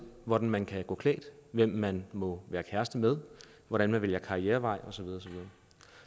hvordan man kan gå klædt hvem man må være kæreste med hvordan man vælger karrierevej og så videre